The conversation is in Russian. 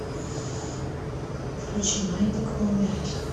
включи маятник полумягких